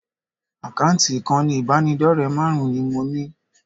Àkáǹtì ìkànnì ìbánidọ́rẹ̀ẹ́ márùn-ún ni mo ní